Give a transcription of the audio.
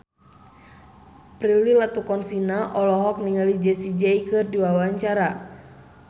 Prilly Latuconsina olohok ningali Jessie J keur diwawancara